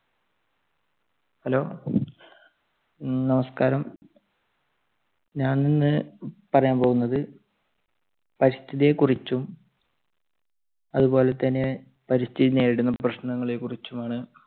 hello നമസ്കാരം. ഞാൻ ഇന്ന് പറയാൻ പോകുന്നത് പരിസ്ഥിതിയെ കുറിച്ചും അതുപോലെതന്നെ പരിസ്ഥിതി നേരിടുന്ന പ്രശ്നങ്ങളെ കുറിച്ചുമാണ്.